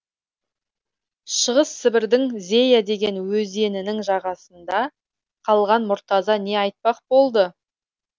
шығыс сібірдің зея деген өзенінің жағасында қалған мұртаза не айтпақ болды